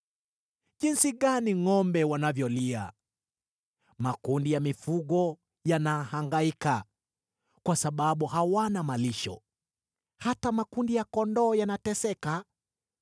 Jinsi gani ngʼombe wanavyolia! Makundi ya mifugo yanahangaika kwa sababu hawana malisho; hata makundi ya kondoo yanateseka.